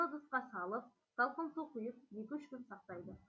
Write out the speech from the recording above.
шыны ыдысқа салып салқын су құйып екі үш күн сақтайды